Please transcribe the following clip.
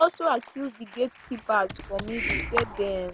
e also accuse di gatekeepers for middle say dem